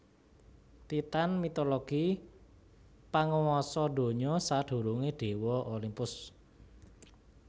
Titan mitologi panguwasa donya sadurungé déwa Olimpus